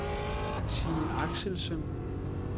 Signe Axelsen